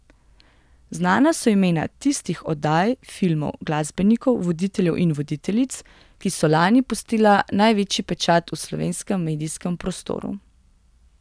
Znana so imena tistih oddaj, filmov, glasbenikov, voditeljev in voditeljic, ki so lani pustila največji pečat v slovenskem medijskem prostoru.